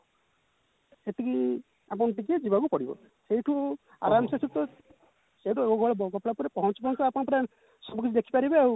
ସେଠିକି ଆପଣ ଟିକେ ଯିବାକୁ ପଡିବ ସେଇଠୁ ଆରମସେ ଯିବେ ସେଉଠୁ ପହଞ୍ଚିଲା ପରେ ପହଞ୍ଚୁ ପହଞ୍ଚୁ ଆପଣ ପୁରା ସବୁକିଛି ଦେଖିପାରିବେ ଆଉ